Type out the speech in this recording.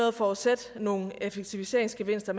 at forudsætte nogle effektiviseringsgevinster